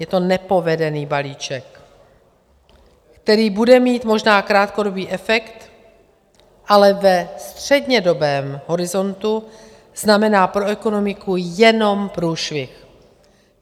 Je to nepovedený balíček, který bude mít možná krátkodobý efekt, ale ve střednědobém horizontu znamená pro ekonomiku jenom průšvih.